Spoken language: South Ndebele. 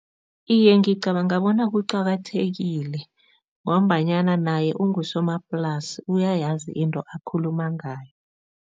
Iye, ngicabanga bona kuqakathekile ngombanyana naye ungusomaplasi, uyayazi into akhuluma ngayo.